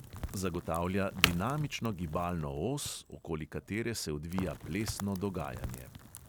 Zagotavlja dinamično gibalno os, okoli katere se odvija plesno dogajanje.